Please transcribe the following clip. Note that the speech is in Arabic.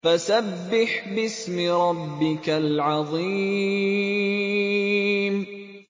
فَسَبِّحْ بِاسْمِ رَبِّكَ الْعَظِيمِ